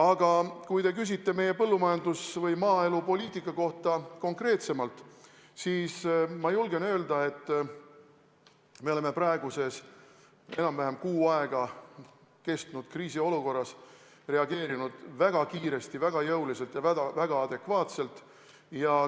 Aga kui te küsite meie põllumajandus- või maaelupoliitika kohta konkreetsemalt, siis ma julgen öelda, et me oleme praeguses enam-vähem kuu aega kestnud kriisiolukorras reageerinud väga kiiresti, väga jõuliselt ja väga adekvaatselt.